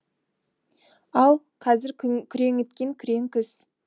ал қазір күреңіткен күрең күз